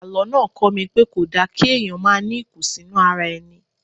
Àlọ́ náà kọ́ mi pé kò da kí èèyàn máa ní ìkùnsínú ara ẹni